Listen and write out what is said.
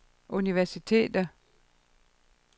universiteter